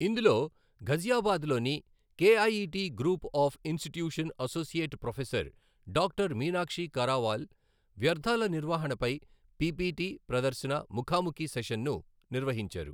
ఇందులో ఘజియాబాద్లోని KIET group of institution associate professor doctor Meenakshi Karawal వ్యర్ధాల నిర్వహణపై పిపిటి, ప్రదర్శన, ముఖాముఖి సెషన్ను నిర్వహించారు.